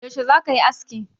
Yaushe za ka yi aski?